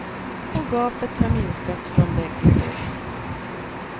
Och gapet har minskat från bägge håll.